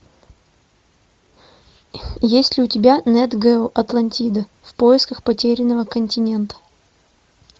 есть ли у тебя нет гео атлантида в поисках потерянного континента